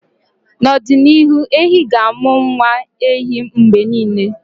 na ọdịnihu, ehi ga-amụ nwa ehi mgbe niile